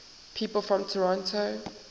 people from toronto